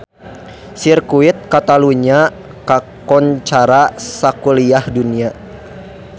Sirkuit Catalunya kakoncara sakuliah dunya